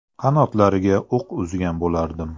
Qanotlariga o‘q uzgan bo‘lardim.